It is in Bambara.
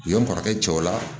U ye n kɔrɔkɛ cɛw la